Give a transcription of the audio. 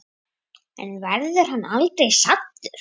En verður hann aldrei saddur?